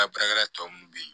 Baarakɛla tɔ minnu bɛ ye